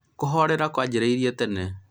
kũhorera kwanjĩrĩe tene